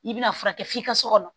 I bɛna furakɛ f'i ka so kɔnɔ